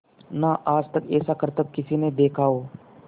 ना आज तक ऐसा करतब किसी ने देखा हो